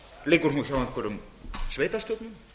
liggur hún hjá einhverjum sveitarstjórnum